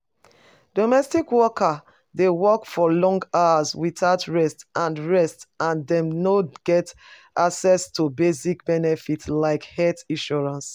Domestic workers dey work for long hours without rest, and rest, and dem no get access to basic benefits like health insurance.